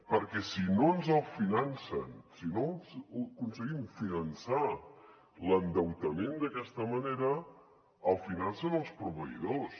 perquè si no ens el financen si no aconseguim finançar l’endeutament d’aquesta manera el financen els proveïdors